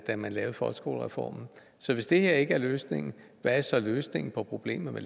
da man lavede folkeskolereformen hvis det her ikke er løsningen hvad er så løsningen på problemet med